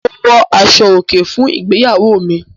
Mo wọ aṣọ-òkè fún ìgbéyàwó mi.